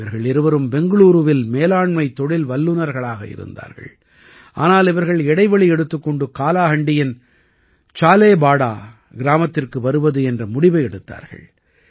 இவர்கள் இருவரும் பெங்களூரூவில் மேலாண்மை தொழில் வல்லுநர்களாக இருந்தார்கள் ஆனால் இவர்கள் இடைவெளி எடுத்துக் கொண்டு காலாஹாண்டியின் சாலேபாடா கிராமத்திற்கு வருவது என்ற முடிவை எடுத்தார்கள்